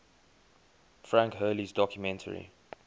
frank hurley's documentary